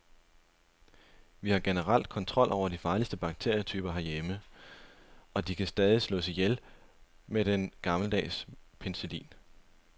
Vi har generelt kontrol over de farligste bakterietyper herhjemme, og de kan stadig slås ihjel med den gammeldags og penicillin.